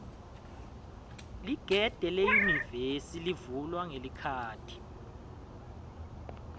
ligede leyunivesi livulwa ngelikhadi